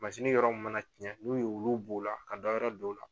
Mansin yɔrɔ min mana tiɲɛ n'u ye olu b'o la ka dɔyɔrɔ don o la